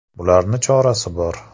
Bularni chorasi bor.